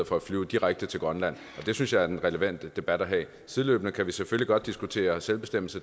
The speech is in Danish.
for at flyve direkte til grønland og det synes jeg er den relevante debat at have sideløbende kan vi selvfølgelig godt diskutere selvbestemmelse